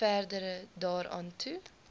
verder daaraan toe